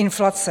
Inflace.